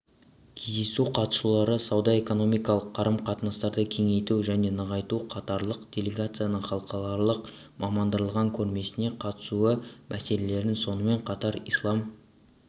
кездесу қатысушылары сауда-экономикалық қарым-қатынастарды кеңейту жәненығайту катарлық делегацияның халықаралық мамандандырылған көрмесіне қатысуы мәселелерін сонымен қатар ислам